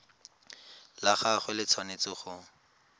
la gagwe le tshwanetse go